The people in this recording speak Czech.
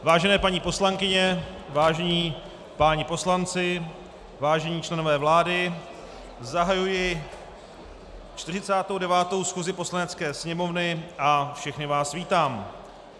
Vážené paní poslankyně, vážení páni poslanci, vážení členové vlády, zahajuji 49. schůzi Poslanecké sněmovny a všechny vás vítám.